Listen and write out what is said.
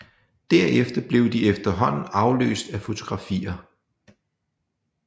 Derefter blev de efterhånden afløst af fotografier